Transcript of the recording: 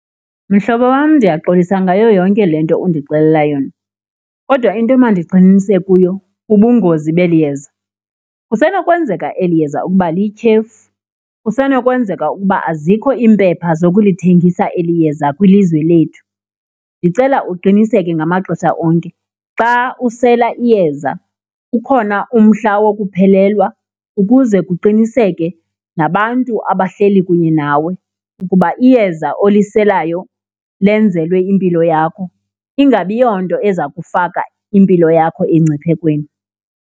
Mhlobo wam, ndiyaxolisa ngayo yonke le nto undixelela yona kodwa into emandigxininise kuyo bubungozi beli yeza. Kusenokwenzeka eli yeza ukuba liyityhefu, kusenokwenzeka ukuba azikho iimpepha zokulithengisa eli yeza kwilizwe lethu. Ndicela uqiniseke ngamaxesha onke xa usela iyeza ukhona umhla wokuphelelwa ukuze kuqiniseke nabantu abahleli kunye nawe ukuba iyeza oliselayo lenzelwe impilo yakho, ingabi yonto eza kufaka impilo yakho engciphekweni.